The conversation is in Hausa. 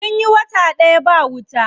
Sun yi wata ɗaya ba wuta.